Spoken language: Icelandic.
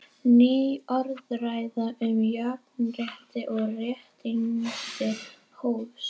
Ný orðræða um jafnrétti og réttindi hófst.